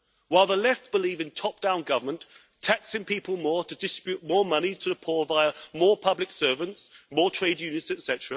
While the Left believe in top down government, taxing people more to distribute more money to the poor via more public servants, more trade unions, etc.,